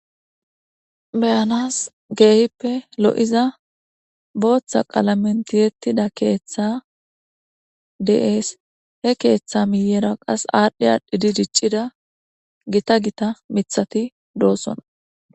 beyanas keehippe lo7iza booththa qaalamentiyettida keeththa de7ees he keeththa miyera qas aadhdhi adhidi diccida gita gita mithati doossona